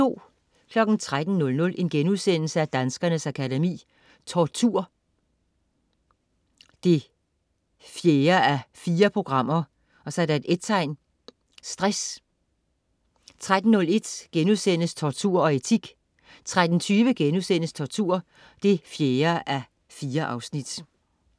13.00 Danskernes Akademi: Tortur 4:4 & Stress* 13.01 Tortur og etik* 13.20 Tortur 4:4*